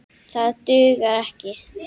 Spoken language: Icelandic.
Það dugar ekki.